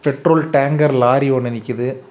Petrol tanker lorry ஒன்னு நிக்குது.